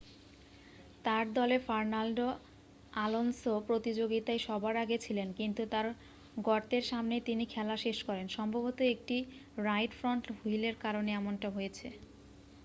তার দলের Fernando Alonso প্রতিযোগীতায় সবার আগে ছিলেন কিন্তু তার গর্তের সামনেই তিনি খেলা শেষ করেন সম্ভবত একটি রাইট ফ্রন্ট হুইলের কারণে এমনটা হয়েছে